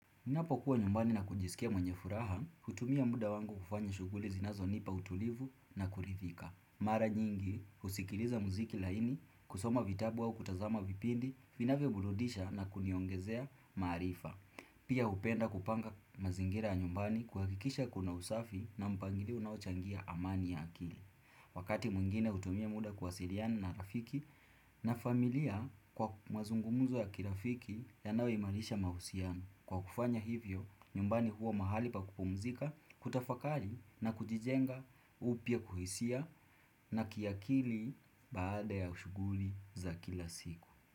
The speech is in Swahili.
Ninapo kuwa nyumbani na kujisikia mwenye furaha, hutumia muda wangu kufanya shuguli zinazoinipa utulivu na kulithika. Mara nyingi, husikiliaza muziki laini, kusoma vitabu wao kutazama vipindi, finavyo burudisha na kuniongezea marifa. Pia hupenda kupanga mazingira ya nyumbani kuhakikisha kuna usafi na mpangilio unaochangia amani ya akili. Wakati mwingine hutumia muda kuwasiriana na rafiki na familia kwa mazungumuzo ya kirafiki yanayo imarisha mahusiano kwa kufanya hivyo nyumbani huo mahali pa kupumzika kutafakari na kujijenga upya kuhisia na kiakili baada ya shuguli za kila siku.